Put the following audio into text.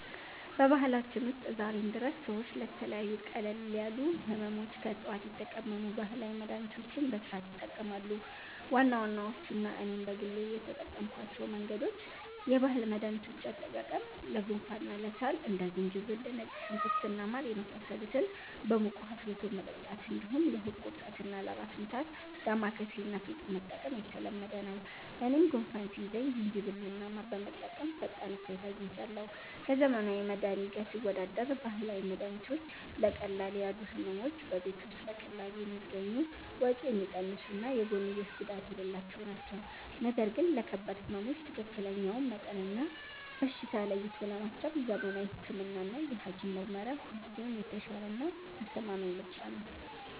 በባህላችን ውስጥ ዛሬም ድረስ ሰዎች ለተለያዩ ቀለል ያሉ ሕመሞች ከዕፅዋት የተቀመሙ ባህላዊ መድኃኒቶችን በስፋት ይጠቀማሉ። ዋና ዋናዎቹና እኔም በግል የተጠቀምኩባቸው መንገዶች፦ የባህል መድኃኒቶች አጠቃቀም፦ ለጉንፋንና ለሳል እንደ ዝንጅብል፣ ነጭ ሽንኩርት እና ማር የመሳሰሉትን በሙቅ ውኃ አፍልቶ መጠጣት፣ እንዲሁም ለሆድ ቁርጠትና ለራስ ምታት «ዳማከሴ» እና «ፌጦ» መጠቀም የተለመደ ነው። እኔም ጉንፋን ሲይዘኝ ዝንጅብልና ማር በመጠቀም ፈጣን እፎይታ አግኝቻለሁ። ከዘመናዊ መድኃኒት ጋር ሲወዳደር፦ ባህላዊ መድኃኒቶች ለቀለል ያሉ ሕመሞች በቤት ውስጥ በቀላሉ የሚገኙ፣ ወጪ የሚቀንሱና የጎንዮሽ ጉዳት የሌላቸው ናቸው። ነገር ግን ለከባድ ሕመሞች ትክክለኛውን መጠንና በሽታ ለይቶ ለማከም ዘመናዊ ሕክምናና የሐኪም ምርመራ ሁልጊዜም የተሻለና አስተማማኝ ምርጫ ነው።